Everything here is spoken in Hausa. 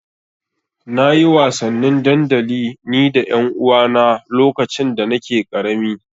Na yi wasannin dandali ni da ƴanuwana lokacin da nake ƙarami.